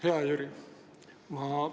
Hea Jüri!